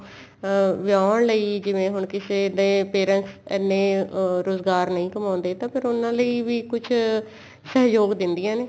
ਅਹ ਵਿਆਉਣ ਲਈ ਜਿਵੇਂ ਹੁਣ ਕਿਸੇ ਦੇ parents ਇੰਨੇ ਰੁਜਗਾਰ ਨਹੀਂ ਕਮਾਉਂਦੇ ਤਾਂ ਫੇਰ ਉਹਨਾ ਲਈ ਵੀ ਕੁੱਝ ਸਹਿਯੋਗ ਦੇਂਦੀਆਂ ਨੇ